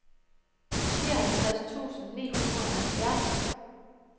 nioghalvtreds tusind ni hundrede og halvfjerds